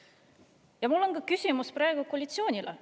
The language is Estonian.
Aga mul on küsimus ka koalitsioonile.